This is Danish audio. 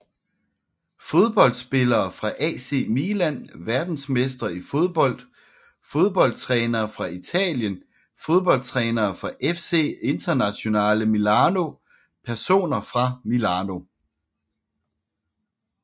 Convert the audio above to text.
Fodboldspillere fra AC Milan Verdensmestre i fodbold Fodboldtrænere fra Italien Fodboldtrænere fra FC Internazionale Milano Personer fra Milano